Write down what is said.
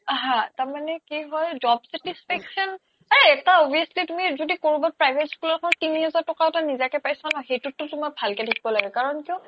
হা তাৰ মানে কি হ্'ল job satisfaction এই এটা obviously তুমি য্দি কৰবাত private school হ্'লেও তিনি হেজাৰ তকাও নিজা কে পাইছ ন সেইতোত তুমি ভালকে থাকিব লাগে কাৰন কিয়